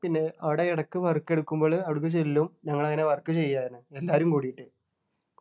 പിന്നെ അവിടെ ഇടയ്ക്ക് work എടുക്കുമ്പോൾ അവിടെക്ക് ചെല്ലും ഞങ്ങൾ അങ്ങനെ work ചെയ്യാന് എല്ലാരും കൂടിയിട്ട്